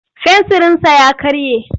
Fensirinsa ya karye.